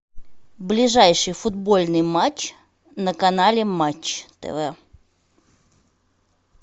ближайший футбольный матч на канале матч тв